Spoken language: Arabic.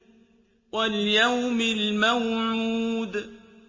وَالْيَوْمِ الْمَوْعُودِ